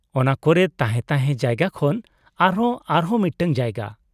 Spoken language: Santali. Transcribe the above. ᱚᱱᱟ ᱠᱚᱨᱮ ᱛᱟᱦᱮᱸ ᱛᱟᱦᱮᱸ ᱡᱟᱭᱜᱟ ᱠᱷᱚᱱ ᱟᱨᱦᱚᱸ ᱟᱨᱦᱚᱸ ᱢᱤᱫᱴᱟᱝ ᱡᱟᱭᱜᱟ ᱾